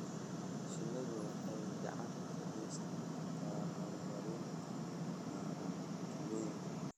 Shinnidu waxay gacan ka geysan kartaa horumarinta dhaqaalaha tuulooyinka.